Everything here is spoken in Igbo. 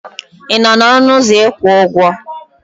Ị nọ n'ọnụ ụzọ ịkwụ ụgwọ?